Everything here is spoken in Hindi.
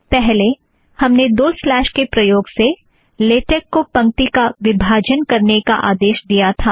पहले हमने दो स्लॅश के प्रयोग से लेटेक को पंक्ति का विभाजन करने का आदेश दिया था